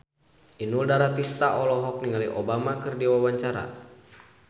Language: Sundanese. Inul Daratista olohok ningali Obama keur diwawancara